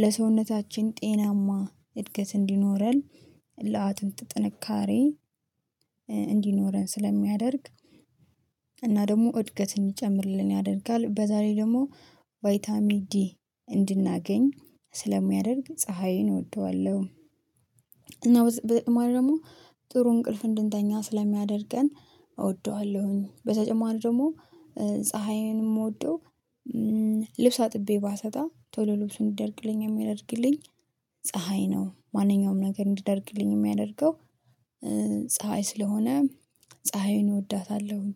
ለሰውነታችን ጤናማ እድገት እንዲኖረን። ለአጥንት ጥንካሬ እንዲኖረን ስለሚያደርግ። እና ደግሞ እድገትን ይጨምርልን ያደርጋል በዛላይ ደግሞ ቫይታሚ ዲ እንድናገኝ ስለሚያደርግ ፀሀይን እወደዋለሁ። እና ደግሞ ጥሩ እንቅልፍ እንድንተኛ ስለሚያደርገን እወደዋለሁኝ። በተጨማሪ ደግሞ ፀሀይን የምወደው። ልብስ አጥቤ ባሰጣ ቶሎ ልብስ እንዲደርቅልኝ የሚያደርግልኝ ፀሀይ ነው። ማንኛውም ነገር እንዲደርቅልኝ የሚያደርገው። ፀሀይ ስለሆነ ፀሀይን እወዳታለሁኝ።